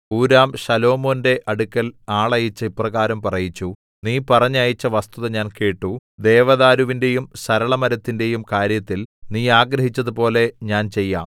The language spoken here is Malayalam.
ഹൂരാം ശലോമോന്റെ അടുക്കൽ ആളയച്ച് ഇപ്രകാരം പറയിച്ചു നീ പറഞ്ഞയച്ച വസ്തുത ഞാൻ കേട്ടു ദേവദാരുവിന്റെയും സരളമരത്തിന്റെയും കാര്യത്തിൽ നീ ആഗ്രഹിച്ചതുപോലെ ഞാൻ ചെയ്യാം